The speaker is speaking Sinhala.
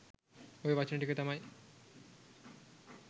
ඔය වචන ටික තමයි